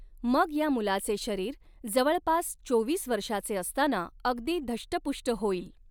मग या मुलाचे शरीर जवळपास चोवीस वर्षाचे असताना अगदी धष्टपुष्ट होईल.